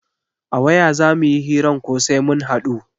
A waya za muyi hiran ko sai mun haɗu?